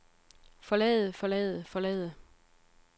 forlade forlade forlade